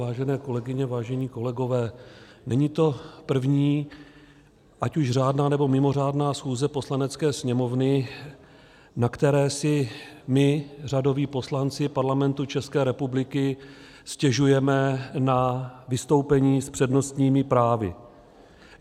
Vážené kolegyně, vážení kolegové, není to první ať už řádná, nebo mimořádná schůze Poslanecké sněmovny, na které si my, řadoví poslanci Parlamentu České republiky, stěžujeme na vystoupení s přednostními právy.